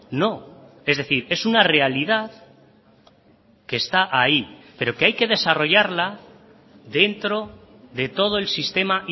no es decir es una realidad que está ahí pero que hay que desarrollarla dentro de todo el sistema